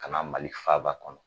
Ka na mali faaba kɔnɔ